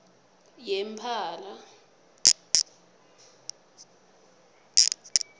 yemphala